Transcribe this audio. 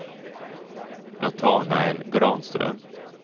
Natanael Granström